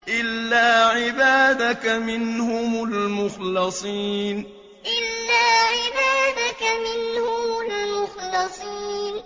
إِلَّا عِبَادَكَ مِنْهُمُ الْمُخْلَصِينَ إِلَّا عِبَادَكَ مِنْهُمُ الْمُخْلَصِينَ